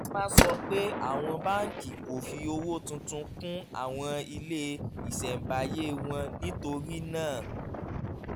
dressman sọ pé àwọn báńkì kò fi owó tuntun kún àwọn ilé ìṣẹ̀ǹbáyé wọn nítorí náà